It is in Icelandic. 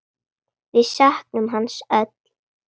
Við söknum hans öll.